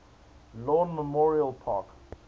lawn memorial park